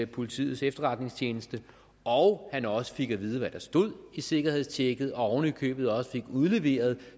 politiets efterretningstjeneste og han også fik at vide hvad der stod i sikkerhedstjekket og oven i købet også fik udleveret